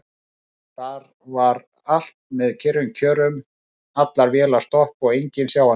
Þar var allt með kyrrum kjörum: allar vélar stopp og enginn sjáanlegur.